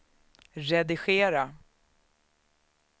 redigera